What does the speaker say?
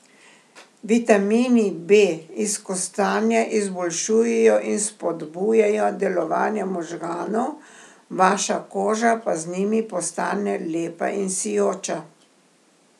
Vitamini B iz kostanja izboljšujejo in spodbujajo delovanje možganov, vaša koža pa z njimi postane lepa in sijoča.